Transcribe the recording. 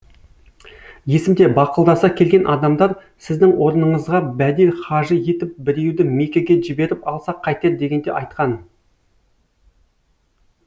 есімде бақылдаса келген адамдар сіздің орныңызға бадел хажы етіп біреуді мекеге жіберіп алсақ қайтер дегенде айтқан